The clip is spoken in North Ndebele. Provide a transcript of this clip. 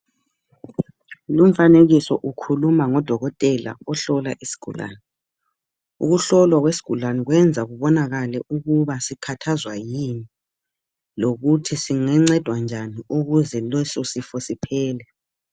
Lumfanekiso ukhuluma ngudokotela ohlola isigulane. Ukuhlolwa kwesigulane kwenza kubonakale ukuba sikhathazwa yini. Lokuthi singancedwa njani, ukuze leso sifo siphele.